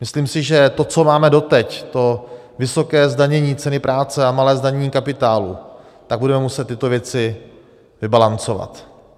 Myslím si, že to, co máme doteď, to vysoké zdanění ceny práce a malé zdanění kapitálu, tak budeme muset tyto věci vybalancovat.